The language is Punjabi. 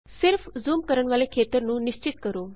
ਸਿਰਫ ਜ਼ੂਮ ਕਰਨ ਵਾਲ਼ੇ ਖੇਤਰ ਨੂੰ ਨਿਸ਼ਚਿਤ ਕਰੋ